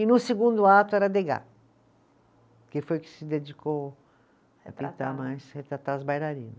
E no segundo ato era, que foi que se dedicou mais, retratar os bailarinos.